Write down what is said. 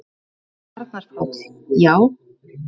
Arnar Páll: Já.